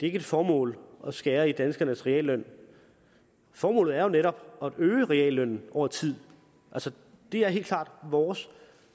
ikke et formål at skære i danskernes realløn formålet er jo netop at øge reallønnen over tid det er helt klart vores